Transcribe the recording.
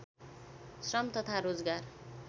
श्रम तथा रोजगार